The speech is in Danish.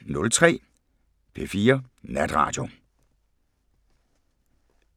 05:03: P4 Natradio